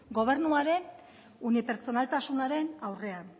gobernuaren unipertsonaltasunaren aurrean